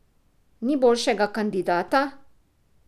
Ni boljšega kandidata?